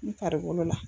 N taari bolo la